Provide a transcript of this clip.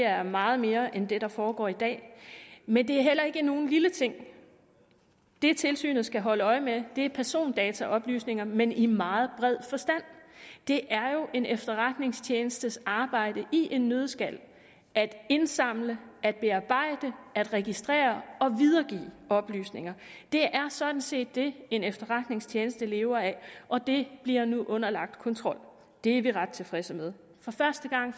er meget mere end det der foregår i dag men det er heller ikke nogen lille ting det tilsynet skal holde øje med er persondataoplysninger men i meget bred forstand det er jo en efterretningstjenestes arbejde i en nøddeskal at indsamle at bearbejde at registrere og videregive oplysninger det er sådan set det en efterretningstjeneste lever af og det bliver nu underlagt kontrol det er vi ret tilfredse med for første gang